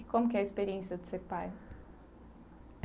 E como que é a experiência de ser pai?